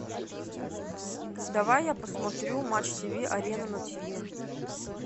давай я посмотрю матч тиви арена на тиви